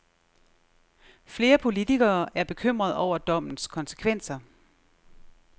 Flere politikere er bekymret over dommens konsekvenser.